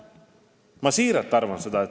Ma siiralt arvan seda.